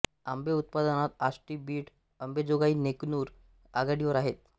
आंबे उत्पादनात आष्टी बीड अंबेजोगाई नेकनूर आघाडीवर आहेत